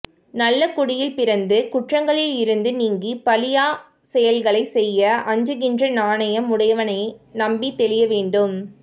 நல்லகுடியில் பிறந்து குற்றங்களிலிருந்து நீங்கிப் பழியாச் செயல்களைச் செய்ய அஞ்சுகின்ற நாணம் உடையவனையே நம்பித் தெளிய வேண்டும்